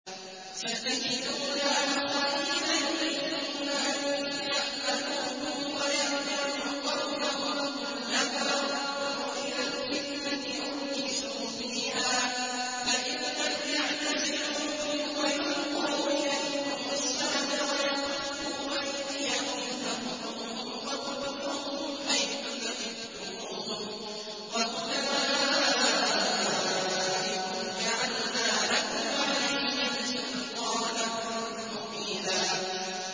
سَتَجِدُونَ آخَرِينَ يُرِيدُونَ أَن يَأْمَنُوكُمْ وَيَأْمَنُوا قَوْمَهُمْ كُلَّ مَا رُدُّوا إِلَى الْفِتْنَةِ أُرْكِسُوا فِيهَا ۚ فَإِن لَّمْ يَعْتَزِلُوكُمْ وَيُلْقُوا إِلَيْكُمُ السَّلَمَ وَيَكُفُّوا أَيْدِيَهُمْ فَخُذُوهُمْ وَاقْتُلُوهُمْ حَيْثُ ثَقِفْتُمُوهُمْ ۚ وَأُولَٰئِكُمْ جَعَلْنَا لَكُمْ عَلَيْهِمْ سُلْطَانًا مُّبِينًا